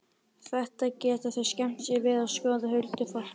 Þetta geta þau skemmt sér við að skoða, huldufólkið.